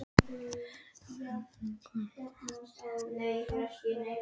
Blævar, hvað er í matinn?